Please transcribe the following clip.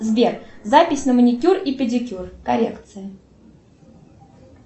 сбер запись на маникюр и педикюр коррекция